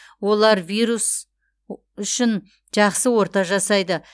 олар вирус үшін жақсы орта жасайды